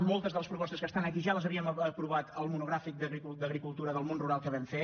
moltes de les propostes que estan aquí ja les havíem aprovat al monogràfic d’agricultura del món rural que vam fer